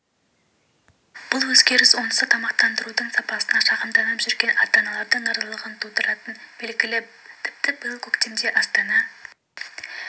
бұл өзгеріс онсыз да тамақтандырудың сапасына шағымданып жүрген ата-аналардың наразылығын тудыратыны белгілі тіпті биыл көктемде астана